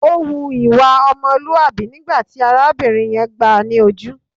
Ó hu ìwà ọmọlúàbí nígbà tí arábìnrin yẹn gbáà ni ojú.